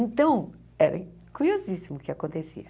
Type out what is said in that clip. Então, era curiosíssimo o que acontecia.